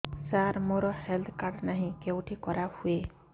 ସାର ମୋର health card ନାହିଁ କେଉଁଠି କରା ହୁଏ